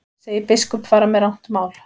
Segir biskup fara með rangt mál